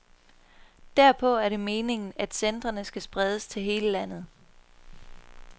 Derpå er det meningen, at centrene skal spredes til hele landet.